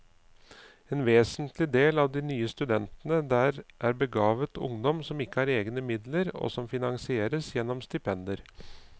En vesentlig del av de nye studentene der er begavet ungdom som ikke har egne midler, og som finansieres gjennom stipendier.